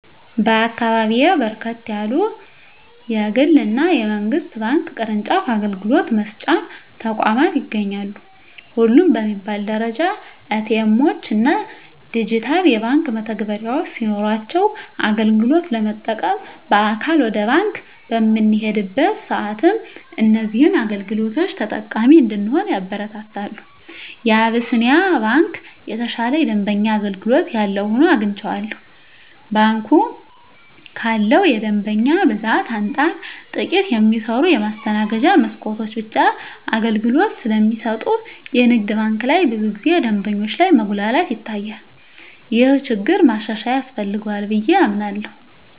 በአካባቢየ በርከት ያሉ የግል እና የመንግስት ባንክ ቅርጫፍ አገልግሎት መስጫ ተቋማት ይገኛሉ። ሁሉም በሚባል ደረጃ ኤ.ቲ. ኤምዎች እና ዲጂታል የባንክ መተግበሪያዎች ሲኖሯቸው አገልግሎት ለመጠቀም በአካል ወደ ባንክ በምንሄድበት ሰአትም እዚህን አገልግሎቶች ተጠቃሚ እንድንሆን ያበረታታሉ። የአቢስንያ ባንክ የተሻለ የደንበኛ አገልግሎት ያለው ሆኖ አግኝቸዋለሁ። ባንኩ ካለው የደንበኛ ብዛት አንፃር ጥቂት የሚሰሩ የማስተናገጃ መስኮቶች ብቻ አገልግሎት ስለሚሰጡ የንግድ ባንክ ላይ ብዙ ጊዜ ደንበኞች ላይ መጉላላት ይታያል። ይህ ችግር ማሻሻያ ያስፈልገዋል ብየ አምናለሁ።